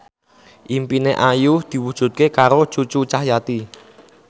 impine Ayu diwujudke karo Cucu Cahyati